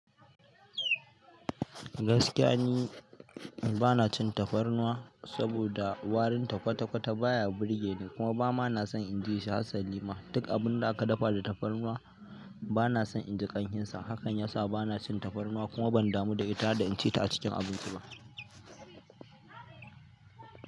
Gaskiya ni bana cin tafarnuwa saboda warin kwata kwata baya burge ni kuma ba ma na son in ji shi hasalima. Duk abun da aka dafa da tafarnuwa bana son in ji ƙamshinsa. Hakan ya sa bana cin tafarnuwa kuma ban damu da ita da in ci ta a cikin abinci ba.